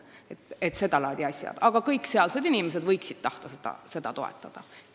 Nii et ma räägin seda laadi asjadest, mida võiksid kõik sealsed inimesed tahta toetada.